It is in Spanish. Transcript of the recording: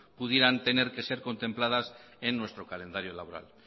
pudieran tener que ser contempladas en nuestro calendario laboral